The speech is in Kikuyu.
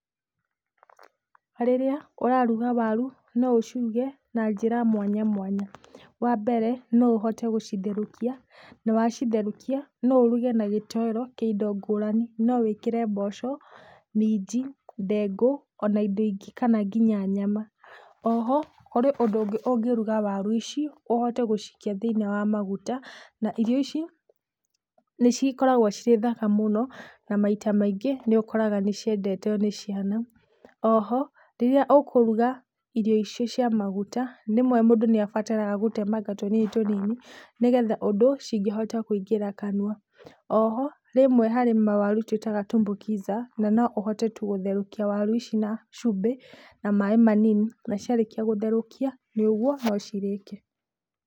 Rĩrĩa ũraruga waru no ũciruge na njĩra mwanya mwanya. Wa mbere, no ũhote gũcitherũkia na wacitherũkia, no ũruge na gĩtoero kĩa indo ngũrani, no wĩkĩre mboco, minji, ndengũ, ona indo ingĩ kana nginya nyama. O ho, kũrĩ ũndũ ũngĩ ũngĩruga waru ici ũhote gũcikia thĩiniĩ wa maguta na irio icio nĩ cikoragwo cirĩ thaka mũno na maita maingĩ nĩ ũkoraga nĩ ciendetwo nĩ ciana. O ho, rĩrĩa ũkũruga irio icio cia maguta, rĩmwe mũndũ nĩ abataraga gũtemanga tũnini tũnini, nĩgetha ũndũ cingĩhota kũingĩra kanua. Oho rĩmwe harĩ mawaru tũĩtaga tumbukiza na no ũhote tu gũtherũkia waru ici na cũmbĩ na maĩ manini, na ciarĩkia gũtherũkia, nĩ ũguo no cirĩke.